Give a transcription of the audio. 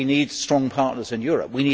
We need strong partners in Europe.